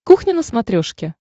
кухня на смотрешке